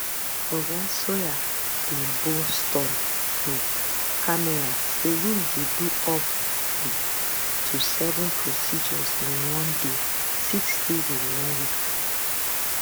oga sawyer dey boast on um camera say im dey do up um to seven procedures in one day six days in one week